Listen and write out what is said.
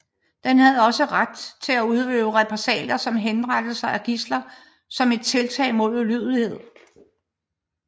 Den havde også ret til at udøve repressalier som henrettelse af gidsler som et tiltag mod ulydighed